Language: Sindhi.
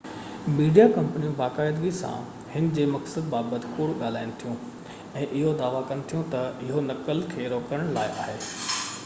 ميڊيا ڪمپنيون باقاعدي سان هن جي مقصد بابت ڪوڙ ڳالهائين ٿيون، ۽ اهو دعويٰ ڪن ٿيون تہ اهو نقل کي روڪڻ لاءِ آهي